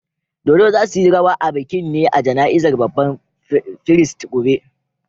Dodo za' su yi rawa a bikin ne a jana'izar babban firist gobe.